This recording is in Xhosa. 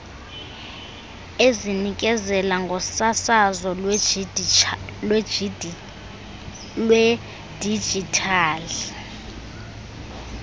ezinikezela ngosasazo lwedijithali